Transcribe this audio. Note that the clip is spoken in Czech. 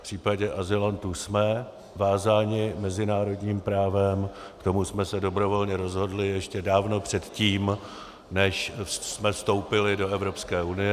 V případě azylantů jsme vázáni mezinárodním právem, k tomu jsme se dobrovolně rozhodli ještě dávno předtím, než jsme vstoupili do Evropské unie.